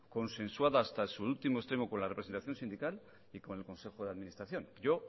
consensuada hasta su último extremo con la representación sindical y con el consejo de administración yo